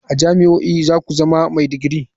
A jami'o'i za ku zama mai digiri.